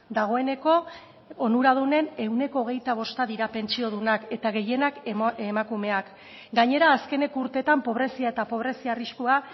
dagoeneko onuradunen ehuneko hogeita bosta dira pentsiodunak eta gehienak emakumeak gainera azkeneko urteetan pobrezia eta pobrezia arriskua